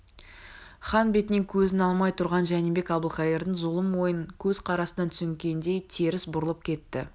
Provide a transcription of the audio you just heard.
хан бетінен көзін алмай тұрған жәнібек әбілқайырдың зұлым ойын көз қарасынан түсінгендей теріс бұрылып кетті